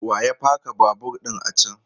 Wa ya paka babur ɗin a can?